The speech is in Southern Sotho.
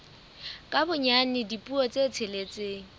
ka bonyane dipuo tse tsheletseng